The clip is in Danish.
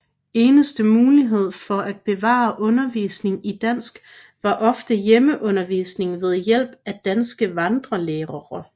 Eneste mulighed for at bevare undervisning i dansk var ofte hjemmeundervisning ved hjælp af danske vandrelærere